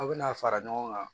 Aw bɛna fara ɲɔgɔn kan